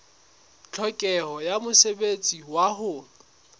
tlhokeho ya mosebetsi wa ho